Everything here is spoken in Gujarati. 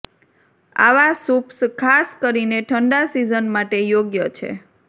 આવા સૂપ્સ ખાસ કરીને ઠંડા સિઝન માટે યોગ્ય છે